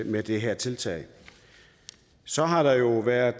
med det her tiltag så har der jo været